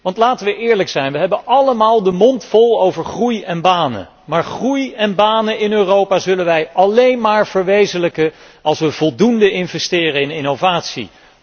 Want, laten wij eerlijk zijn, wij hebben allemaal de mond vol over groei en banen, maar groei en banen in Europa zullen wij slechts dan verwezenlijken, als wij voldoende investeren in innovatie.